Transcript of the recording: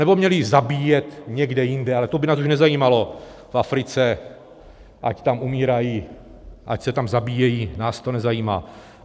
Anebo měly zabíjet někde jinde, ale to by nás už nezajímalo, v Africe, ať tam umírají, ať se tam zabíjejí, nás to nezajímá?